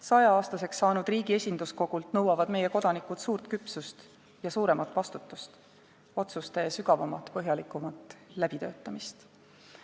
Saja-aastaseks saanud riigi esinduskogult nõuavad meie kodanikud suurt küpsust ja suuremat vastutust, otsuste sügavamat, põhjalikumat läbitöötamist.